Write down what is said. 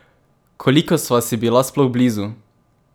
Koliko sva si bila sploh blizu?